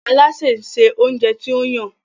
Alásè nsé oúnjẹ tí o Yàn.